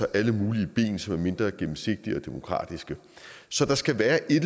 alle mulige ben som er mindre gennemsigtige og demokratiske så der skal være et